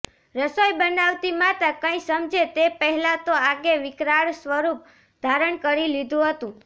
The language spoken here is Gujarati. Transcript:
રસોઇ બનાવતી માતા કંઇ સમજે તે પહેલા તો આગે વિકરાળ સ્વરૂપ ધારણ કરી લીધુ હતુ